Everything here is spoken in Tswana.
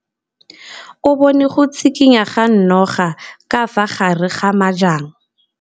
O bone go tshikinya ga noga ka fa gare ga majang.